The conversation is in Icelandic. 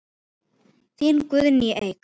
Þín Guðný Eik.